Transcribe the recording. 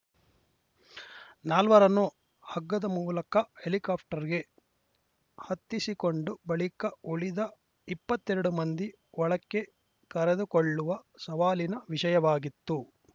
ನಾಲ್ವರನ್ನು ಹಗ್ಗದ ಮೂಲಕ ಹೆಲಿಕಾಪ್ಟರ್‌ಗೆ ಹತ್ತಿಸಿಕೊಂಡ ಬಳಿಕ ಉಳಿದ ಇಪ್ಪತ್ತೆರಡು ಮಂದಿ ಒಳಕ್ಕೆ ಕರೆದುಕೊಳ್ಳುವ ಸವಾಲಿನ ವಿಷಯವಾಗಿತ್ತು